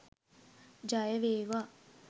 ජය වේවා!